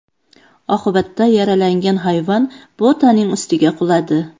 Oqibatda yaralangan hayvon Botaning ustiga quladi.